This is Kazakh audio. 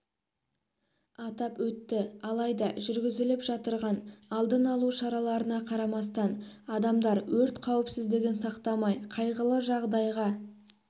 атап өтті алайда жүргізіліп жатырған алдын алу шараларына қарамастан адамдар өрт қауіпсіздігін сақтамай қайғылы жағдайға